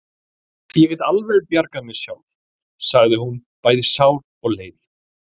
Ég get alveg bjargað mér sjálf, sagði hún, bæði sár og leið.